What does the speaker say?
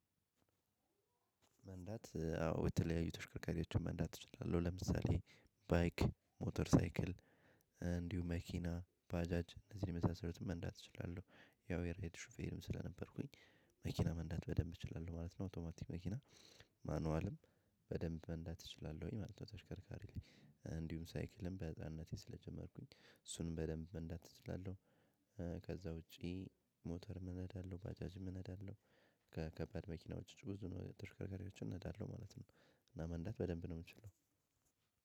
መንዳት አዎ የተለያዩ ተሽከርካሪዎችን መንዳት እችላለሁ። ለምሳሌ ባይክ ሞተር ሳይክል እንዲሁ መኪና ባጃጅ እነዚህን የመሳሰሉት መንዳት እችላለሁ። ያው የራይድ ሹፌርም ስለነበርኩኝ መኪና መንዳት በደንብ እችላለሁ ማለት ነው። አውቶማቲክ መኪና ማንዋልም በደንብ መንዳት እችላለሁኝ ማለት ነው። ተሽከርካሪ ላይ እንድሁም ሳይክልም በህፃንነቴም ስለጀመርኩኝ እሱንም በደንብ መንዳት እችላለሁ። ከዛ ውጪ ሞተር እነዳለሁ ባጃጅ እነዳለሁ ከከባድ መኪና ውጪ ብዙ ተሽከርካሪዎችን እነዳለሁ ማለት ነው እና መንዳት በደንብ ነው የምችለው